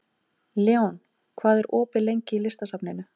Leon, hvað er opið lengi í Listasafninu?